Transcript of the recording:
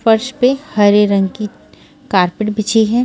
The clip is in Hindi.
फर्श पे हरे रंग की कारपेट बिछे है।